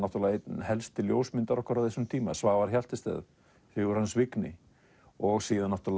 einn helsti ljósmyndari okkar á þessum tíma Svavar Hjaltested Vignir og síðan